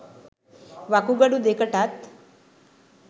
වකුගඩු දෙකටත්